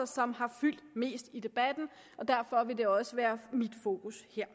som har fyldt mest i debatten og derfor vil det også være mit fokus her